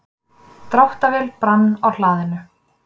Dráttarvél brann á hlaðinu